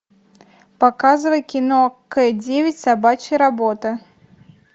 показывай кино к девять собачья работа